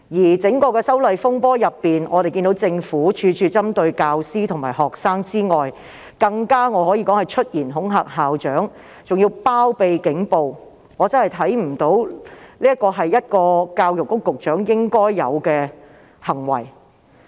在整場修例風波中，我們看到政府除了處處針對教師和學生外，更可說是出言恐嚇校長，包庇警暴，我真的不認為這是教育局局長應有的行為。